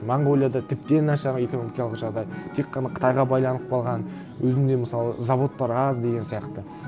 монғолияда тіпті нашар экономикалық жағдай тек қана қытайға байланып қалған өзінде мысалы заводтар аз деген сияқты